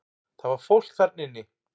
Það var fólk þarna inni!